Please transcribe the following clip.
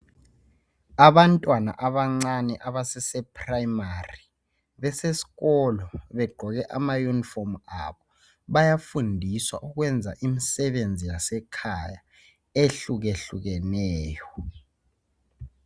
Abantwana abancane abasase primary bese sikolo begqoke ama unifomu abo bayafundiswa ukwenza imisebenzi yasekhaya ehlukehlukeneyo.